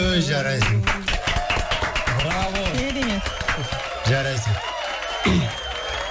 өй жарайсың браво керемет жарайсың